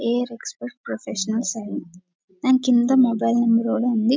Air expect professional దాని కింద mobile number ఉంది.